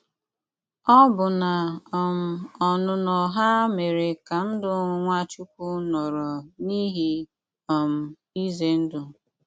Ọ́bụ́ná um ọ́nụnọ́ há méré ká ndụ́ Nwáchúkwú nọrọ n’íhé um ízé ndụ́!